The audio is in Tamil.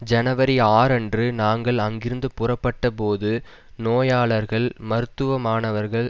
ஜனவரி ஆறு அன்று நாங்கள் அங்கிருந்து புறப்பட்ட போது நோயாளர்கள் மருத்துவ மாணவர்கள்